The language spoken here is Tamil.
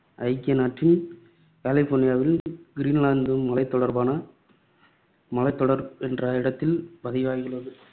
ஐக்கிய நாட்டின் கலிபோர்னியாவில் கிரீன்லாந்து மலைத்தொடர்பான மலைத்தொடர் என்ற இடத்தில் பதிவாகியுள்ளது.